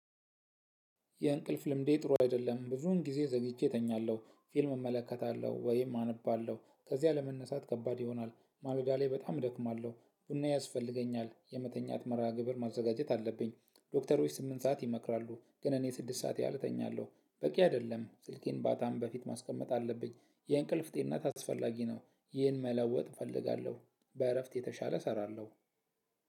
የእንቅልፍ ልምዴ ጥሩ አይደለም። ብዙውን ጊዜ ዘግይቼ እተኛለሁ። ፊልም እመለከታለሁ። ወይም አነባለሁ ከዚያ ለመነሳት ከባድ ይሆናል። አልጋ ላይ በጣም እደክማለሁ። ቡና ያስፈልገኛል። የመተኛት መርሃ ግብር ማዘጋጀት አለብኝ። ዶክተሮች ስምንት ሰዓት ይመክራሉ። ግን እኔ ስድስት ሰዓት ያህል እተኛለሁ። በቂ አይደለም ስልኬን ባታም በፊት ማስቀመጥ አለብኝ። የእንቅልፍ ጤናት አስፈላጊ ነው። ይህን መለወጥ እፈልጋለሁ በእረፍት የተሻለ እሰራለሁ።